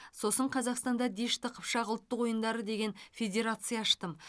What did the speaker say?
сосын қазақстанда дешті қыпшақ ұлттық ойындары деген федерация аштым